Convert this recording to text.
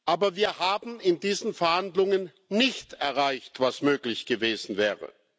Aber wir haben in diesen Verhandlungen nicht erreicht, was möglich gewesen wäre.